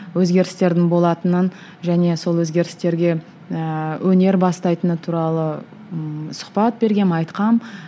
өзгерістердің болатынын және сол өзгерістерге ііі өнер бастайтыны туралы ммм сұхбат бергенмін айтқанмын